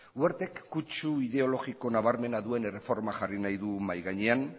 wertek kutsu ideologiko nabarmena duen erreforma